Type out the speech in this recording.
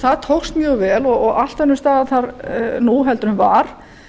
það tókst mjög vel og allt önnur staða þar nú heldur en var